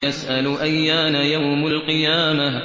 يَسْأَلُ أَيَّانَ يَوْمُ الْقِيَامَةِ